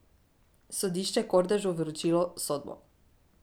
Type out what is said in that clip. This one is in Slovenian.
Sodišče Kordežu vročilo sodbo.